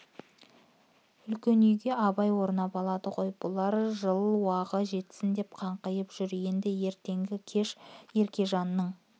үлкен үйге абай орнап алды ғой бұлар жыл уағы жетсін деп қаңқиып жүр енді ертенді-кеш еркежанның